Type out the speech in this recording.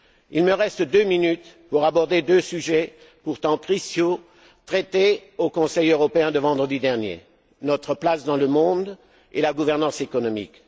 Il me reste deux minutes pour aborder deux sujets, pourtant cruciaux, traités au Conseil européen de vendredi dernier notre place dans le monde et la gouvernance économique.